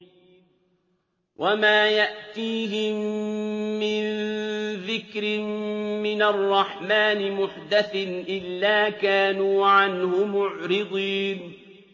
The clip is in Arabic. وَمَا يَأْتِيهِم مِّن ذِكْرٍ مِّنَ الرَّحْمَٰنِ مُحْدَثٍ إِلَّا كَانُوا عَنْهُ مُعْرِضِينَ